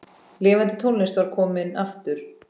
Lifandi tónlist var komin aftur.